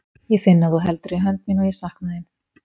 Ég finn að þú heldur í hönd mína og ég sakna þín.